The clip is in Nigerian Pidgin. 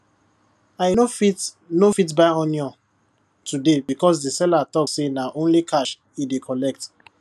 i no fit no fit buy onion today because di seller talk say na only cash e dey collect